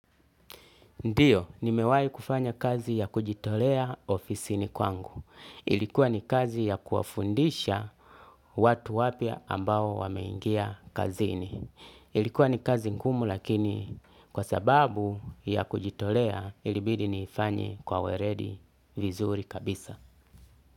Ndiyo, ni mewai kufanya kazi ya kujitolea ofisini kwangu. Ilikuwa ni kazi ya kuwafundisha watu wapya ambao wameingia kazini. Ilikuwa ni kazi ngumu lakini kwa sababu ya kujitolea ilibidi niifanye kwa weredi vizuri kabisa.